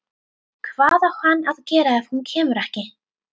Hvað á hann að gera ef hún kemur ekki?